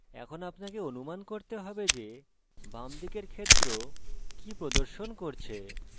এখন আপনাকে অনুমান করতে have যে by দিকের ক্ষেত্র by প্রদর্শন করছে